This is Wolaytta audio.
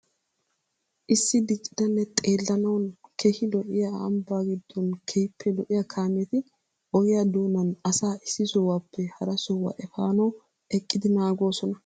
Issi diccidanne xeellanawu keehi lo''iya ambbaa giddon keehippe lo''iya kaameti ogiya doonan asaa issi sohuwappe hara sohuwa efaanawu eqqidi naagoosona.